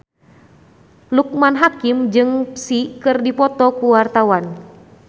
Loekman Hakim jeung Psy keur dipoto ku wartawan